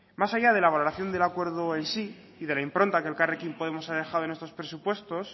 más allá de la valoración del acuerdo en sí y de la impronta que elkarrekin podemos ha dejado en estos presupuestos